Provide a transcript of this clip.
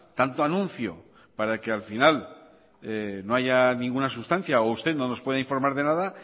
tanto anuncio para que al final no haya ninguna sustancia o usted no nos pueda informar de nada